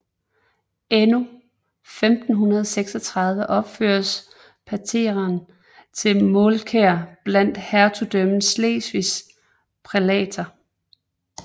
Endnu 1536 opføres pateren til Mårkær blandt Hertugdømmet Slesvigs prælater